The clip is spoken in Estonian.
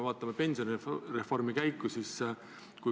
Vaatame pensionireformi käiku!